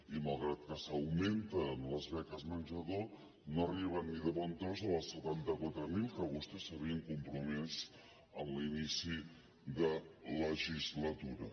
i malgrat que s’augmenten les beques menjador no arriben ni de bon tros a les setanta quatre mil que vostès s’havien compromès a l’inici de legislatura